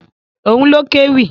Òun ló kéwì.